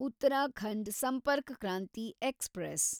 Uttarakhand Sampark Kranti express